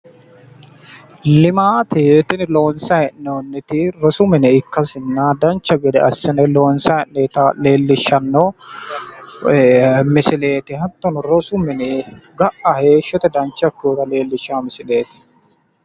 Tinunni latishu looso ikkanna ga"a ilamara hexxo uyittanonna baxxino biinfili noose hijaaru misileti